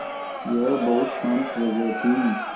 यह बहुत शान्त जगह थी